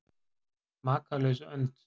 Makalaus önd?